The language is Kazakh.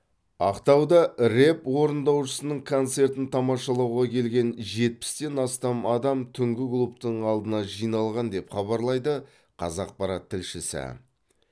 ақтауда рэп орындаушысының концертін тамашалауға келген жетпістен астам адам түнгі клубтың алдына жиналған деп хабарлайды қазақпарат тілшісі